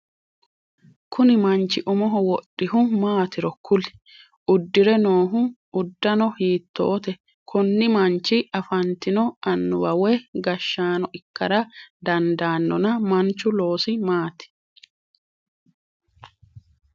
Kunni manchi umoho wodhihu maatiro kuli? Udire noo udanno hiitoote? Konni manchi afantino anuwa woyi gashaano ikara dandanonna manchu loosi maati?